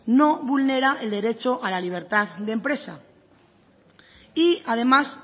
no vulnera el derecho a la libertad de empresa y además